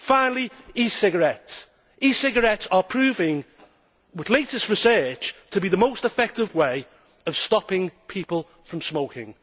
Finally, e cigarettes e cigarettes are proving, according to latest research, to be the most effective way of stopping people from smoking.